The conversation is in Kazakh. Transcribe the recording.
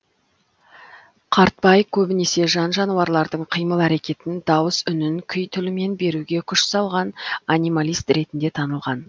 қартбай көбінесе жан жануарлардың қимыл әрекетін дауыс үнін күй тілімен беруге күш салған анималист ретінде танылған